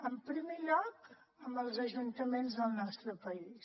en primer lloc amb els ajuntaments del nostre país